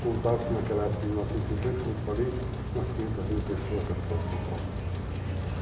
Contava-se naquela época, em 1950, como eu te falei, umas 500 mil pessoas a capital de São Paulo. Uhum.